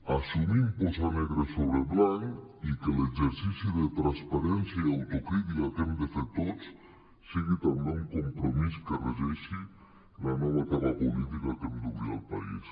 assumim posar negre sobre blanc i que l’exercici de transparència i autocrítica que hem de fer tots sigui també un compromís que regeixi la nova etapa política que hem d’obrir al país